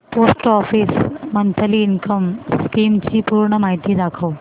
post office monthly income scheme ची पूर्ण माहिती दाखव